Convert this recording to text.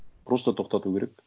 просто тоқтату керек